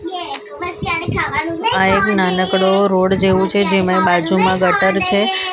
આ એક નાનકડો રોડ જેવો છે જેમાં એ બાજુમાં ગટર છે સામે --